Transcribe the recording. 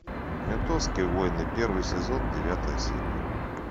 ментовские войны первый сезон девятая серия